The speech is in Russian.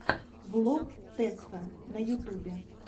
влог тэсфэн на ютубе